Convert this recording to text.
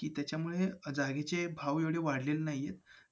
त्याच्यामुळे जागेचे भाव एवढे वाढलेले नाहीयेत.